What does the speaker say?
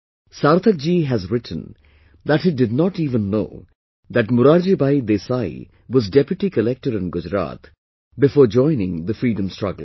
Sarthak ji has written that he did not even know that Morarji Bhai Desai was Deputy Collector in Gujarat before joining the freedom struggle